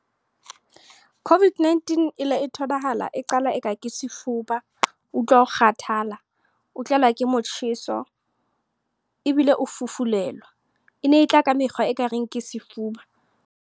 COVID-19 e le e tholahala, e qala eka ke sefuba. Utlwa o kgathala. O tlelwa ke motjheso, ebile o fufulelwa. E ne e tla ka mekgwa e ka reng ke sefuba.